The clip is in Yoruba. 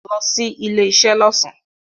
Lo sí ilé isé lọ́sàn